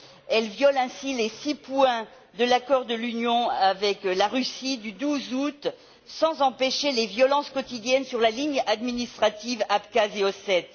Elle viole ainsi les six points de l'accord que l'Union a conclu avec la Russie le 12 août, sans empêcher les violences quotidiennes sur la ligne administrative Abkhazie Ossétie.